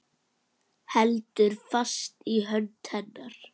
Heldur fast í hönd hennar.